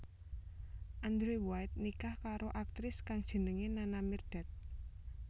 Andrew White nikah karo aktris kang jenengé Nana Mirdad